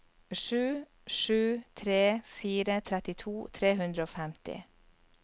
sju sju tre fire trettito tre hundre og femti